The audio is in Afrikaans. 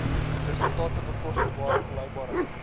resultate bekostigbare volhoubaarheid